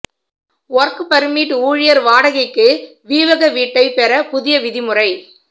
work permit ஊழியர் வாடகைக்கு வீவக வீட்டை பெற புதிய விதிமுறை